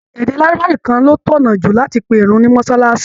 Èdè lárúbáwá nìkan ló tọ̀nà jù láti pe ìrun ní mọ́sálásí